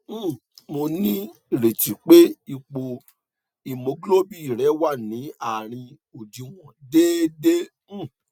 um mo nírètí pé ipò hemoglobin rẹ wà ní àárín òdiwọn déédé um